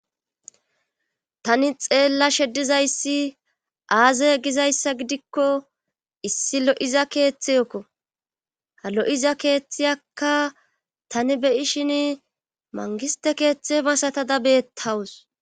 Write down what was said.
tani xeella heddizayssi aazey gizayssa gidikko issi lo7iza keeththeyekko ha lo7iza keeththiyakka tani beyishin mangiste keeththe masatada beettawus